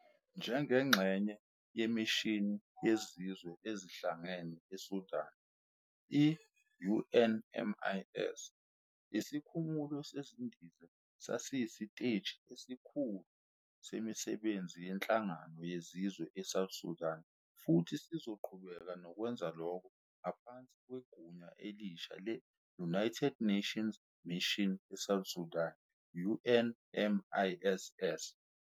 Njengengxenye yeMishini yeZizwe Ezihlangene eSudan, i-UNMIS, isikhumulo sezindiza sasiyisiteji esikhulu semisebenzi yeNhlangano Yezizwe eSouth Sudan futhi sizoqhubeka nokwenza lokho ngaphansi kwegunya elisha le- United Nations Mission eSouth Sudan, UNMISS.